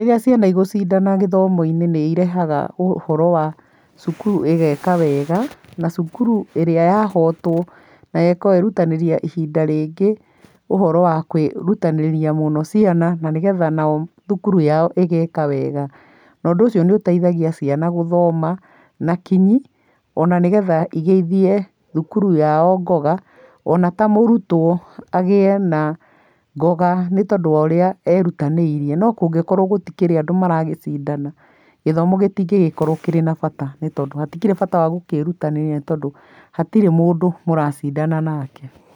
Rĩrĩa ciana igũcindana gĩthomo-inĩ nĩ irehaga ũhoro wa cukuru ĩgeka wega na cukuru ĩrĩa yahotwo ĩkerutanĩria ihinda rĩngĩ, ũhoro wa kwirutanĩria mũno ciana, na nĩgetha nao thukuru yao ĩgeka wega. Ũndũ ũcio nĩ ũteithagia ciana gũthoma na kinyi, ona nĩ getha igĩithie thukuru yao ngoga, ona ta mũrutwo agĩe na ngoga nĩtondũ wa ũrĩa erutanĩirie. No kũngĩkorũo gũtikĩrĩ andũ maragĩcindana, gĩthomo gĩtingĩgĩkorwo kĩna bata nĩ tondũ hatikĩrĩ bata wa gũkĩĩrutanĩria nĩ tondũ hatirĩ mũndũ mũracindana nake.